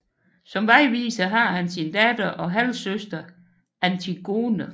Som vejviser har han sin datter og halvsøster Antigone